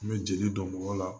An bɛ jeli dɔn mɔgɔ la